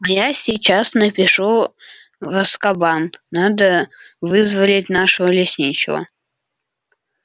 а я сейчас напишу в азкабан надо вызволять нашего лесничего